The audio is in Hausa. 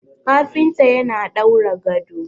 kafinta yana daura gado